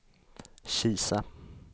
Kisa